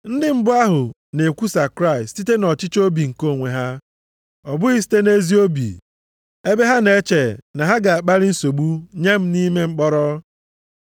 Ndị mbụ ahụ na-ekwusa Kraịst site nʼọchịchọ obi nke onwe ha, ọ bụghị site nʼezi obi, ebe ha na-eche na ha ga-akpalị nsogbu nye m nʼime mkpọrọ.